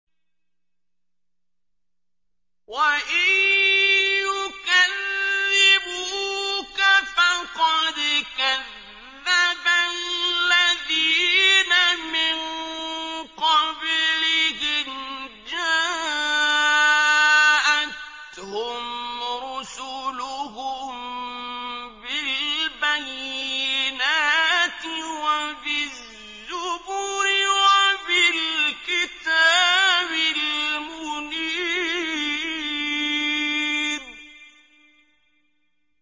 وَإِن يُكَذِّبُوكَ فَقَدْ كَذَّبَ الَّذِينَ مِن قَبْلِهِمْ جَاءَتْهُمْ رُسُلُهُم بِالْبَيِّنَاتِ وَبِالزُّبُرِ وَبِالْكِتَابِ الْمُنِيرِ